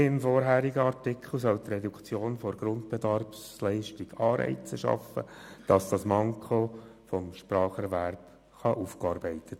Wie im vorherigen Artikel soll die Reduktion der Grundbedarfsleistung Anreize schaffen, das Manko des Spracherwerbs aufzuarbeiten.